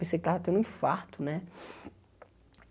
Pensei que tava tendo um infarto, né?